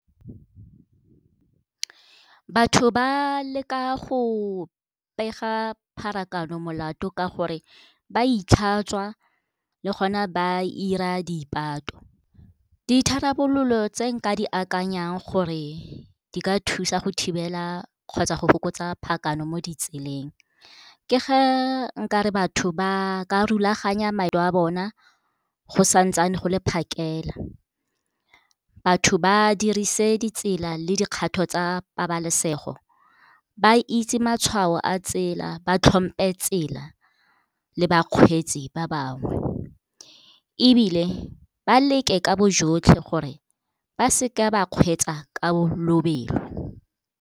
Batho ba leka go pega pharakano molato ka gore ba itlhatswa le gona ba 'ira dipato. Ditharabololo tse nka di akanyang gore di ka thusa go thibela kgotsa go fokotsa phakano mo ditseleng, ke ga nkare batho ba ka rulaganya a bona go sa ntsane go le phakela. Batho ba dirise ditsela le dikgato tsa pabalesego, ba itse matshwao a tsela, ba tlhompe tsela le bakgweetsi ba bangwe, ebile ba leke ka bo jotlhe gore ba seka ba kgweetsa ka lobelo.